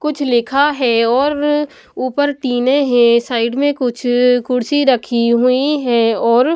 कुछ लिखा है और ऊपर टीने हैं साइड में कुछ कुर्सी रखी हुई है और--